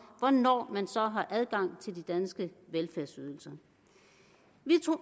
hvornår man så har adgang til de danske velfærdsydelser vi